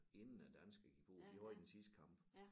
Inden æ danskere gik på de havde den sidste kamp